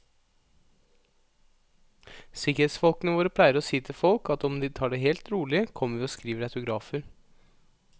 Sikkerhetsfolkene våre pleier å si til folk at om de tar det helt rolig, kommer vi og skriver autografer.